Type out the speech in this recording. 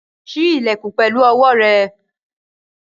Ṣí ilẹ̀kùn pẹ̀lú owó rẹ̀!